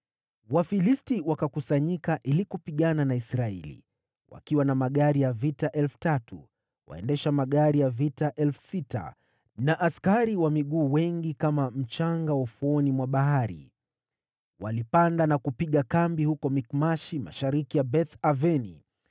Wafilisti wakakusanyika ili kupigana na Israeli, wakiwa na magari ya vita 3,000, waendesha magari ya vita 6,000 na askari wa miguu wengi kama mchanga wa ufuoni mwa bahari. Walipanda na kupiga kambi huko Mikmashi, mashariki ya Beth-Aveni.